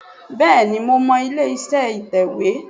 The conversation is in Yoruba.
Bẹ́ẹ̀ni mo mọ ilé iṣẹ́ ìtẹ̀wé